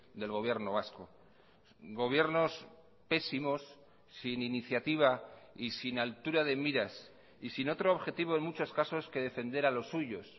del gobierno vasco gobiernos pésimos sin iniciativa y sin altura de miras y sin otro objetivo en muchos casos que defender a los suyos